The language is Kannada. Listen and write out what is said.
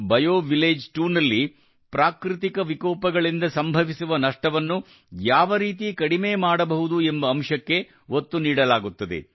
ಬಯೋವಿಲೇಜ್ 2 ನಲ್ಲಿ ಪ್ರಾಕೃತಿಕ ವಿಕೋಪಗಳಿಂದ ಸಂಭವಿಸುವ ನಷ್ಟವನ್ನು ಯಾವರೀತಿ ಕಡಿಮೆ ಮಾಡಬಹುದು ಎಂಬ ಅಂಶಕ್ಕೆ ಒತ್ತು ನೀಡಲಾಗುತ್ತದೆ